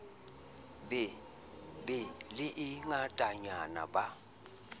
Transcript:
be le e ngatanyana ba